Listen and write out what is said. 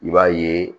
I b'a ye